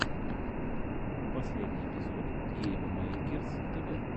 последний эпизод гейммэйкерс тэвэ